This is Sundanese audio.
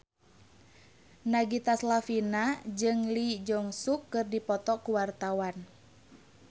Nagita Slavina jeung Lee Jeong Suk keur dipoto ku wartawan